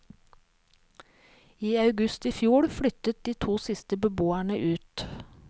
I august i fjor flyttet de to siste beboerne ut.